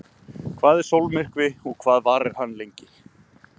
Hvað er sólmyrkvi og hvað varir hann lengi?